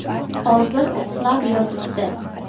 Hozir uxlab yotibdi’.